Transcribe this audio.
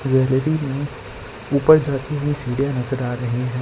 L E D में ये कोई चढ़ती हुई सीढ़ियां नजर आ रहीं हैं।